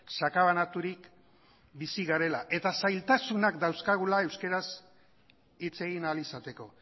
sakabanaturik bizi garela eta zailtasunak dauzkagula euskararz hitz egin ahal izateko